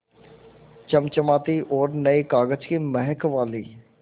चमचमाती और नये कागज़ की महक वाली